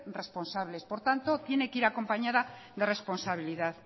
responsables por tanto tiene que ir acompañada de responsabilidad